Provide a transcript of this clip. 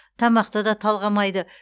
тамақты да талғамайды